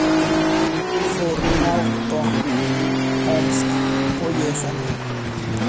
форауто омск поехали